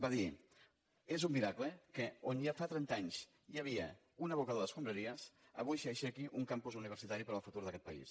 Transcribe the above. va dir és un miracle que on ja fa trenta anys hi havia un abocador d’escombraries avui s’hi aixequi un campus universitari per al futur d’aquest país